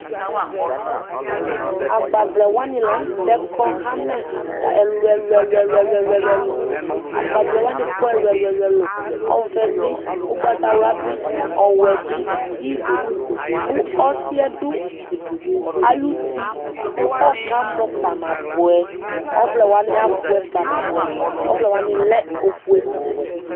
agbavlɛ wani la nu tɛ kɔ ɣamɛɣamɛ, ɛlu ɛlu ɛlu ɛluAgbavlɛ wani kɔ ɛlu ɛlu; ɔvɛ bi, ugbatawla bi, ɔwɛ bi, iblu ku ɔsi yɛ du ayiʋ uti ku ɔkamɔ kpanabɔɛ ɔvlɛ wani abɔɛ kpanabɔɛ ɔvlɛ wani lɛ ofue nu ɔwɛ